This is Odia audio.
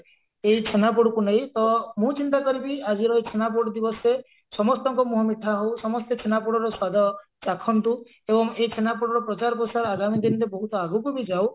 ଏଇ ଛେନାପୋଡକୁ ନେଇ ତ ମୁଁ ଚିନ୍ତା କରିବି ଆଜିର ଛେନାପୋଡ ଦିବସରେ ସମସ୍ତଙ୍କ ମୁହଁ ମିଠା ହଉ ସମସ୍ତେ ଛେନାପୋଡର ସ୍ଵାଦ ଚାଖନ୍ତୁ ଏବଂ ଏଇ ଛେନାପୋଡର ପ୍ରଚାର ପ୍ରସାର ଆଗାମୀ ଦିନରେ ବହୁତ ଆଗକୁ ବି ଯଉ